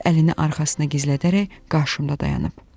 Qız əlini arxasına gizlədərək qarşımda dayanıb.